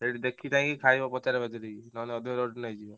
ସେଇଠି ଦେଖି ଚାହିଁକି ଖାଇବ ପଚରା ପଚାରି କି ନହେଲେ ଅଧିକ rate ନେଇଯିବେ।